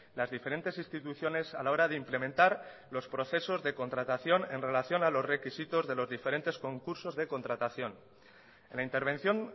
las diferentes instituciones a la hora de implementar los procesos de contratación en relación a los requisitos de los diferentes concursos de contratación en la intervención